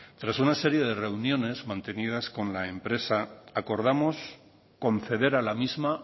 tras una serie de reuniones mantenidas con la empresa acordamos conceder a la misma